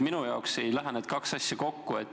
Minu jaoks ei lähe need kaks asja kokku.